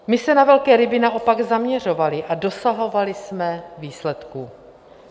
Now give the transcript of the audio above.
My se na velké ryby naopak zaměřovali a dosahovali jsme výsledků.